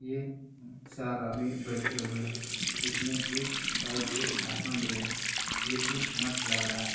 चार आदमी बैठे हुए है। इसमे एक साइड से भाषण दे रहे है। ये एक मट लग रहा है।